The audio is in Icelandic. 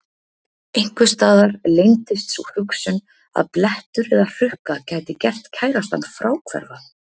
Einhvers staðar leyndist sú hugsun að blettur eða hrukka gæti gert kærastann fráhverfan.